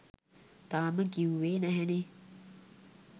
තාම කිව්වේ නැහැනේ